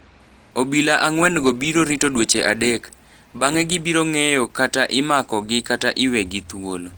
Obila angwen go biro rito dweche adek. Bang'e gibiro ng'eyo kata imako gi kata iwegi thuolo.